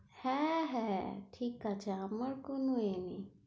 হ্যাঁ হ্যাঁ, ঠিক আছে। আমার কোনো এ নেই,